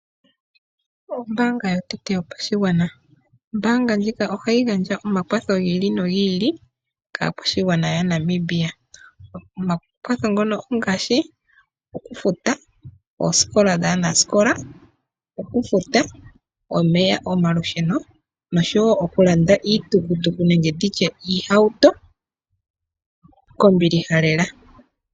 Ombaanga yotango yopashigwana, ombaanga ndjika ohayi gandja omakwatho gi ili nogi ili kaakwashigwana yaNamibia. Omakwatho ngono ongaashi, okufuta oosikola dhaanasikola, okufuta omeya, omalusheno, nosho wo okulanda iitukutuku, nenge nditye iihauto kombiliha lela.